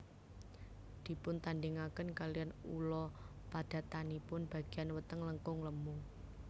Dipuntandhingaken kalihan ula padatanipun bagéyan weteng langkung lemu